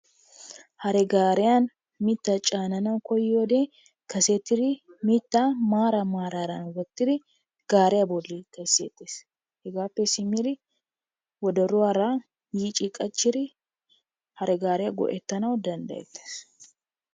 Hare gaariyan mittaa caananawu koyiyode kasetiri mittaa maaran maaran wottiri gaariya bollan kesseettees. Hegaappe simmiri wodoruwara yiici qachchiri hare gaariya go'ettanawu danddayettees.